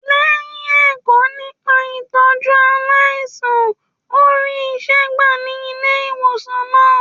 Lẹyìn ẹkọ nípa itọju aláìsàn, o rí iṣẹ gbà ní ilé ìwòsan náà.